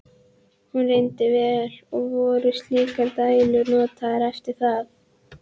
Hún reyndist vel, og voru slíkar dælur notaðar eftir það.